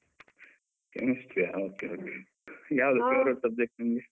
Chemistry ಯಾ? okay okay . ಯಾವುದು favorite subject ನಿಮ್ಗೇ?